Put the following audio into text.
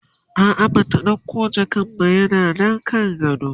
a'a Bata ɗauko jakan ba yana Nan kan gadon